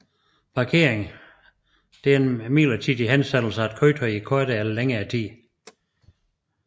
Parkering er en midlertidig hensætning af et køretøj i kortere eller længere tid